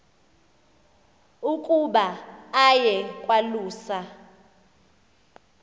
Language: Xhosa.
ukuba aye kwalusa